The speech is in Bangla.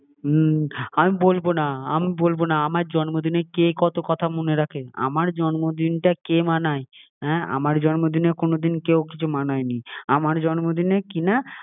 সত্যি! হুম আমি বলবো না, আমি বলবো না আমার জন্মদিনে কে কত কথা মনে রাখে? আমার জন্মদিনটা কে মানায়? হ্যাঁ, আমার জন্মদিনে কোনোদিন কেউ কোনো দিন কিছু মানায় নি আমার জন্মদিনে কিনা